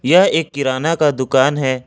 यह एक किराना का दुकान है।